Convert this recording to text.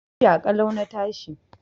Lafiya ƙalau na tashi.